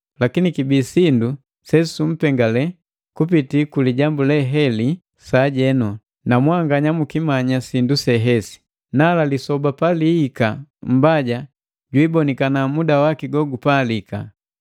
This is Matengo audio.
Lakini kibi sindu sesumpengale kupiti ku lijambu leheli sajenu, na mwanganya mukimanya sindu hesi. Nala lisoba palihika Mmbaja jwiibonikana muda waki gogupalika.